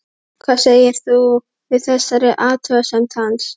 Hvað sagðir þú við þessari athugasemd hans?